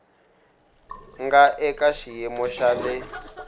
nga eka xiyimo xa le